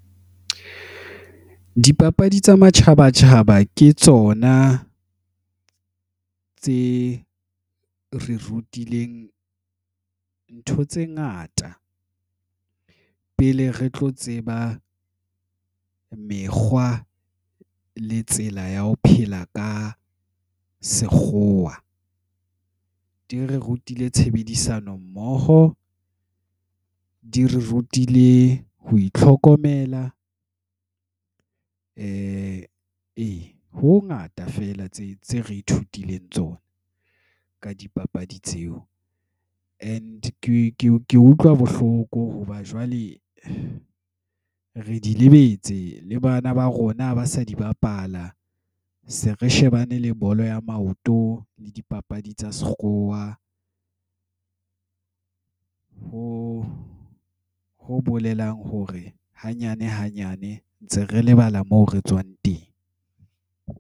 Dipapadi tsa matjhaba tjhaba, ke tsona tse re rutileng ntho tse ngata. Pele re tlo tseba mekgwa, le tsela ya ho phela ka sekgowa. Di re rutile tshebedisano mmoho, di re rutile ho itlhokomela. Ee, ho ho ngata fela tse tse re ithutileng tsona, ka dipapadi tseo. And ke ke utlwa bohloko hoba jwale re di lebetse le bana ba rona ba sa di bapala. Se re shebane le bolo ya maoto le dipapadi tsa sekgowa. Ho ho bolelang hore hanyane hanyane ntse re lebala moo re tswang teng.